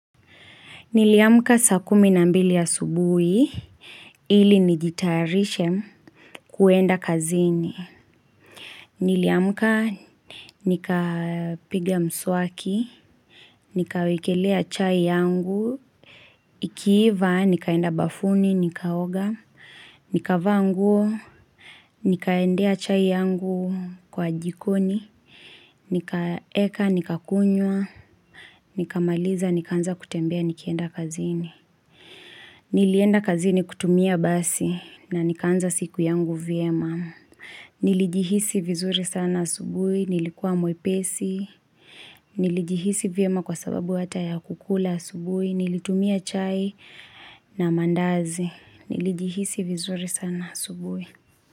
Niliamka sakumi na mbili ya asubuhi, ili nijitarishe kuenda kazini. Niliamuka, nikapiga mswaki, nikawekelea chai yangu, ikiiva, nikaenda bafuni, nikaoga, nika vaanguo, nikaendea chai yangu kwa jikoni, nikaeka, nikakunywa, nikamaliza, nikanza kutembea, nikienda kazini. Nilienda kazini kutumia basi na nikaanza siku yangu vyema. Nilijihisi vizuri sana asubui, nilikua mwepesi, nilijihisi vyema kwa sababu hata ya kukula asubui, nilitumia chai na mandazi. Nilijihisi vizuri sana asubui.